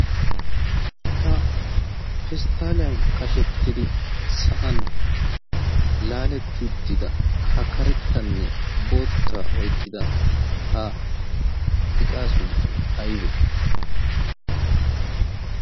ha pesttaaliyan qashettidi sa'an laaletti uttida ha karettanne boottaa oiqqida ha iqaa sunttay aybee